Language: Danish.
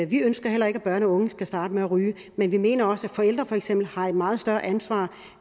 vi ønsker heller ikke at børn og unge skal starte med at ryge men vi mener også at forældre har et meget større ansvar